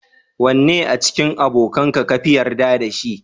Wannne a cikin abokanka kafi yarda da shi?